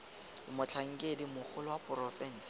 ke motlhankedi mogolo wa porofense